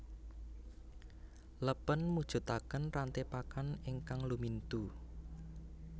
Lèpèn mujudaken ranté pakan ingkang lumintu